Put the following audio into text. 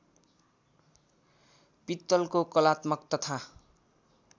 पित्तलको कलात्मक तथा